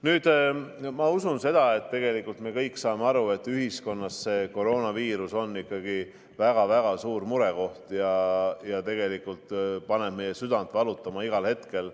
Nüüd, ma usun seda, et me kõik saame aru, et koroonaviirus on ühiskonnas ikkagi väga-väga suur murekoht, mis paneb meie südame valutama igal hetkel.